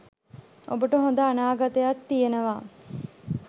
ඔබට හොඳ අනාගතයක් තියෙනවා